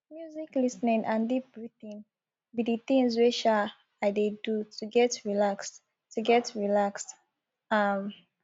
music lis ten ing and deep breathing be di things wey um i dey do to get relaxed to get relaxed um